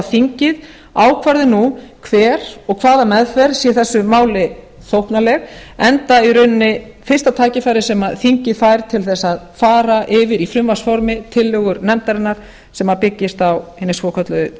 að þingið ákvarði nú ber og hvaða meðferð sé þessu máli þóknanleg enda í rauninni fyrsta tækifærið sem þingið fær til þess að fara yfir í frumvarpsformi tillögur nefndarinnar sem byggjast á hinni svokölluðu